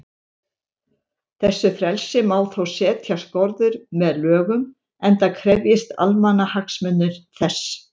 Þessu frelsi má þó setja skorður með lögum, enda krefjist almannahagsmunir þess.